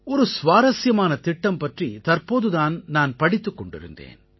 ஒரு சுவாரசியமான திட்டம் பற்றி தற்போது தான் நான் படித்துக் கொண்டிருந்தேன்